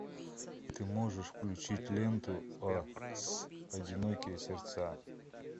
ты можешь включить ленту о с одинокие сердца